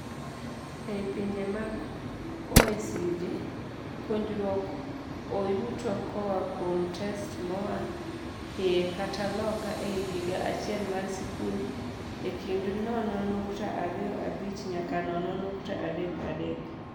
Ei pinje mag OECD, puonjruok oyuto koaa kuom tests moaa hiye kata loka ei higa achiel mar sikul ekind nono nukta ariyo abich nyaka nono nukta adek adek.